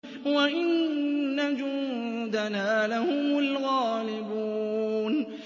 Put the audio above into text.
وَإِنَّ جُندَنَا لَهُمُ الْغَالِبُونَ